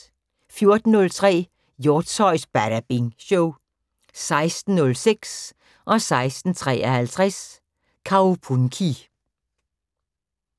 14:03: Hjortshøjs Badabing Show 16:06: Kaupunki 16:53: Kaupunki